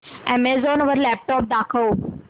Amazon वर laptops दाखव